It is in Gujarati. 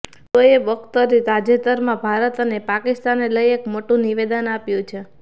શોએબ અખ્તરે તાજેતરમાં ભારત અને પાકિસ્તાનને લઈ એક મોટું નિવેદન આપ્યું છે